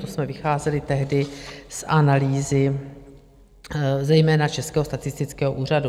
To jsme vycházeli tehdy z analýzy zejména Českého statistického úřadu.